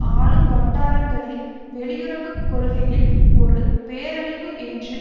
ஆளும் வட்டாரங்களில் வெளியுறவு கொள்கையில் ஒரு பேரழிவு என்று